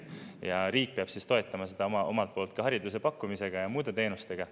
Ja riik peab toetama seda omalt poolt ka hariduse pakkumisega ja muude teenustega.